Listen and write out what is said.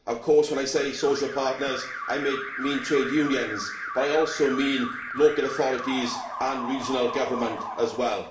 Of course, when I say social partners, I mean trade unions, but I also mean local authorities and regional government as well.